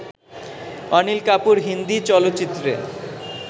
অনিল কাপুর হিন্দি চলচ্চিত্রে